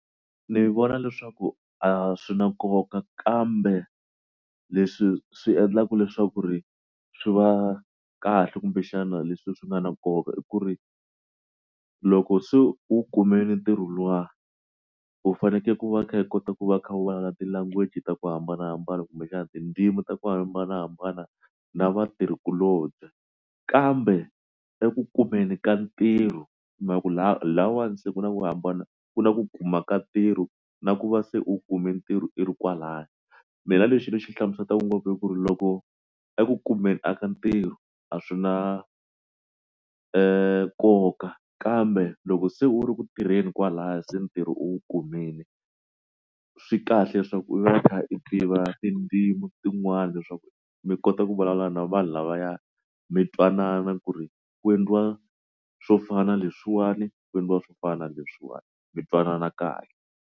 Ndzi vona leswaku a swi na nkoka kambe leswi swi endlaka leswaku ri swi va kahle kumbexana leswi swi nga na nkoka i ku ri loko se u kumile ntirho luwa u fanekele ku va kha i kota ku va u kha u ti language ta ku hambanahambana kumbe xana tindzimi ta ku hambanahambana na vatirhikulobye kambe eku kumeni ka ntirho masiku lahawani se ku na ku hambana ku na ku kuma ka ntirho na ku va se u kume ntirho i ro kwalaya mina lexi ni xi hlamuselaka ngopfu ku ri loko eku kumeni a ka ntirho a swi na nkoka kambe loko se u ri ku tirheni kwalaho se ntirho u kumile swi kahle leswaku u va u kha u tiva tindzimi tin'wana handle leswaku mi kota ku vulavula na vanhu lavaya mi twanana ku ri ku endliwa swo fana leswiwani ku endliwa swo fana ni leswiwani mi twanana kahle.